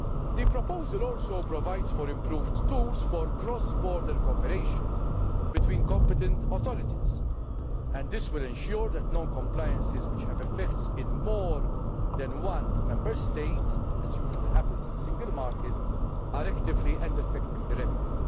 The proposal also provides for improved tools for cross border cooperation between competent authorities. This will ensure that cases of non compliance which have effects in more than one Member State as usually happens in a single market are actively and effectively